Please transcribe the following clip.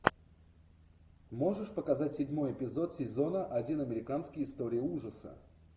можешь показать седьмой эпизод сезона один американские истории ужаса